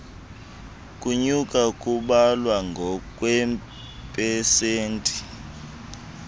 kunyuka kubalwa ngokweepesenti